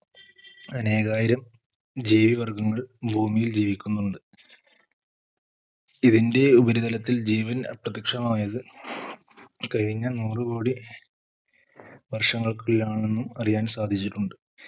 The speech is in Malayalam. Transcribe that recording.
അനേകായിരം ജീവി വർഗങ്ങൾ ഭൂമിയിൽ ജീവിക്കുന്നുണ്ട് ഇതിന്റെ ഉപരിതലത്തിൽ ജീവൻ അപ്രത്യക്ഷമായത് കഴിഞ്ഞ നൂറ് കോടി വർഷങ്ങൾക്കുള്ളിലാണെന്ന് അറിയാൻ സാധിച്ചിട്ടുണ്ട്